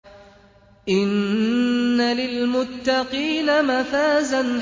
إِنَّ لِلْمُتَّقِينَ مَفَازًا